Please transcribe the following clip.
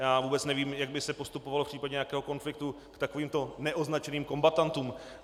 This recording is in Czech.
Já vůbec nevím, jak by se postupovalo v případě nějakého konfliktu k takovýmto neoznačeným kombatantům.